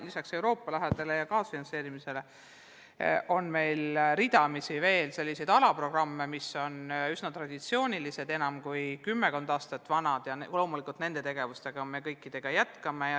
Lisaks Euroopa rahale ja kaasfinantseerimisele on meil ridamisi veel üsna traditsioonilisi alaprogramme, mis on enam kui kümmekond aastat vanad, ja loomulikult kõiki neid tegevusi me jätkame.